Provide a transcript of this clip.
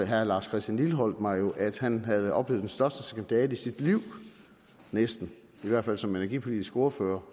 herre lars christian lilleholt mig jo at han havde oplevet den største skandale i sit liv næsten i hvert fald som energipolitisk ordfører